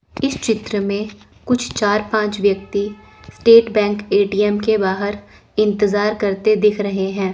इस चित्र में कुछ चार पांच व्यक्ति स्टेट बैंक ए_टी_एम के बाहर इंतजार करते दिख रहे हैं।